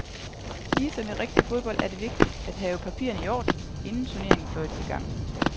Ligesom i rigtig fodbold er det vigtigt at have papirerne i orden, inden turneringen fløjtes i gang.